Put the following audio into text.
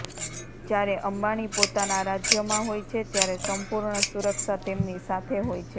જ્યારે અંબાણી પોતાના રાજ્યમાં હોય છે ત્યારે સંપૂર્ણ સુરક્ષા તેમની સાથે હોય છે